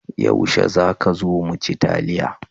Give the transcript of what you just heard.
Yaushe za ka zo mu ci taliya?